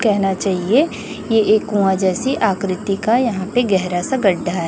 कहना चाहिए ये एक कुआं जैसी आकृति का यहां पे गहरा सा गड्ढा है।